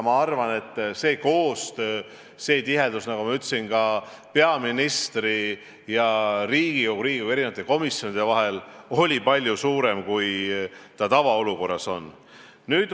Ma arvan, et see koostöö, nagu ma ütlesin, peaministri ja Riigikogu, Riigikogu komisjonide vahel oli palju tihedam, kui see tavaolukorras on olnud.